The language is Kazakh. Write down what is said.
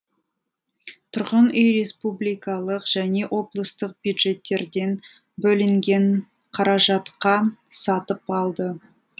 тұрғын үй республикалық және облыстық бюджеттерден бөлінген қаражатқа сатып алды